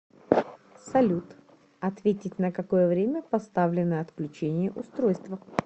салют ответить на какое время поставлено отключение устройства